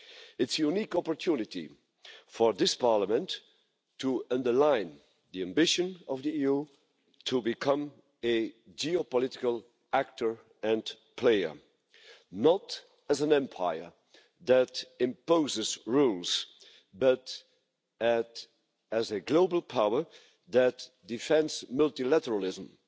It's a unique opportunity for this Parliament to underline the ambition of the EU to become a geopolitical actor and player not as an empire that imposes rules, but as a global power that defends multilateralism,